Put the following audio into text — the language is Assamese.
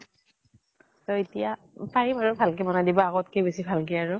তʼ এতিয়া পাৰিম আৰু ভাল কে বনাই দিব । আগত কে বেছি ভাল কে আৰু ।